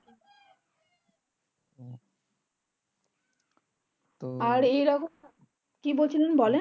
কি বলছিলেন বলেন